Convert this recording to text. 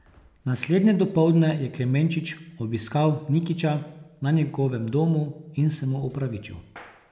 Naslednje dopoldne je Klemenčič obiskal Nikića na njegovem domu in se mu opravičil.